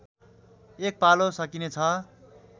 एक पालो सकिनेछ